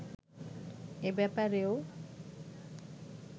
এ ব্যাপারেও